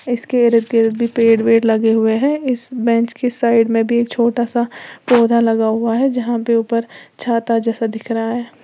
इसके इर्द गिर्द भी पेड़ लगे हुए हैं इस बेंच के साइड में भी एक छोटा सा पौधा लगा हुआ है जहां पे ऊपर छाता जैसा दिख रहा है।